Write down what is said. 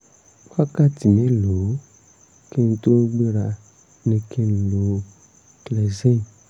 wákàtí mélòó kí n tó gbéra ni kí n lo clexane?